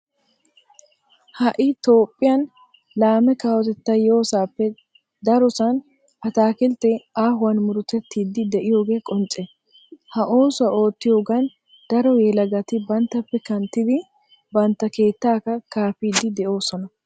Ha"i toophphiyan laame kawotettay yoosappe darosan ataakiltteti aahuwan murutettiiddi de'iyoge qoncce. Ha oosuwa oottiyogan daro yelagati banttappe kanttidi bantta keettaakka kaafiiddi de'oosona.